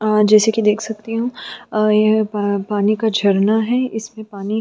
अ जैसा कि देख सकती हूँ अ ए ए पानी का झरना है इसमें पानी --